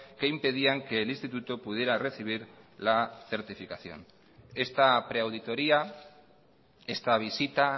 que impedían que el instituto pudiera recibir la certificación esta pre auditoría esta visita